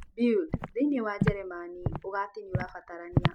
Bild thĩinĩ wa jerumani ũgati nĩũrabatarania